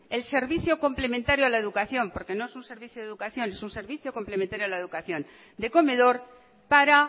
el servicio complementario a la educación porque no es un servicio de educación es un servicio complementario a la educación de comedor para